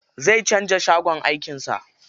Zai canza shagon aikin sa.